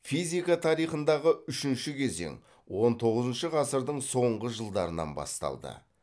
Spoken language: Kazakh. физика тарихындағы үшінші кезең он тоғызыншы ғасырдың соңғы жылдарынан басталды